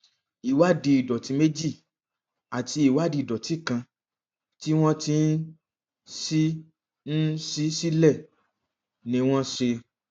ìwádìí ìdòtí méjì àti ìwádìí ìdòtí kan tí wọn ti ń ṣí ń ṣí sílẹ ni wọn ṣe